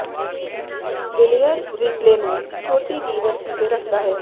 Belair Ripley ਨੂੰ ਚੋਟੀ ਦੀ ਰੱਸੀ ਤੇ ਰੱਖਦਾ ਹੈ